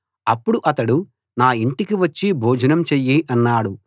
అప్పుడు అతడు నా ఇంటికి వచ్చి భోజనం చెయ్యి అన్నాడు